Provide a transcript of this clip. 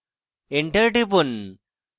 enter টিপুন